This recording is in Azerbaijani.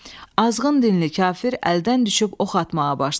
Azğın dinli kafir əldən düşüb ox atmağa başladı.